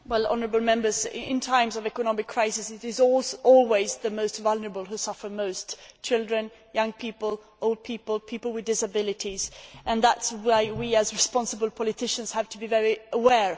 In times of economic crisis it is always the most vulnerable who suffer the most children, young people, old people, people with disabilities and that is why we, as responsible politicians, have to be very aware of this.